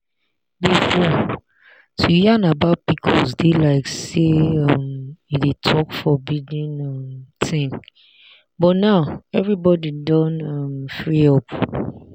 before to yarn about pcos dey like say um you dey talk forbidden um thing but now everybody don um free up.